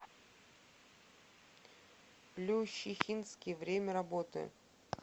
плющихинский время работы